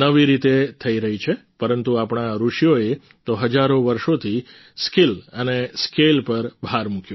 નવી રીતે થઈ રહી છે પરંતુ આપણા ઋષિઓએ તો હજારો વર્ષોથી સ્કિલ અને સ્કેલ પર ભાર આપ્યો છે